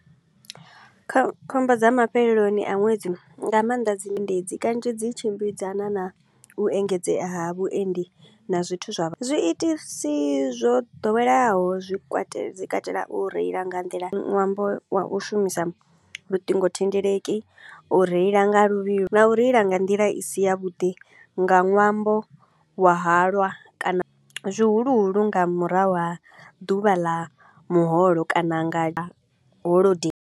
Kho khombo dza mafheleloni a ṅwedzi, nga maanḓa dzi endedzi kanzhi dzi tshimbidzana na u engedzea ha vhuendi na zwithu zwa vha zwi itisi zwo ḓoweleaho zwi kwatela dzi katela u reila nga nḓila ṅwambo wa u shumisa luṱingo thendeleki, u reila nga luvhilo na u reila nga nḓila i si ya vhuḓi nga ṅwambo wa halwa kana zwihuluhulu nga murahu ha ḓuvha ḽa muholo kana nga holodei.